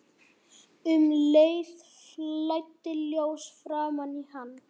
Um leið flæddi ljós framan í hann.